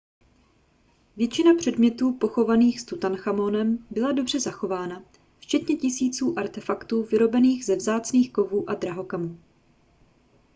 většina předmětů pochovaných s tutanchamonem byla dobře zachována včetně tisíců artefaktů vyrobených ze vzácných kovů a drahokamů